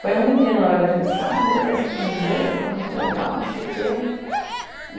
Foi um menino, na verdade, ele disse, ah, adorei essa camiseta, está muito legal, não sei o quê.